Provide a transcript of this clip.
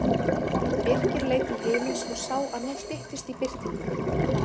Birkir leit til himins og sá að nú styttist í birtingu.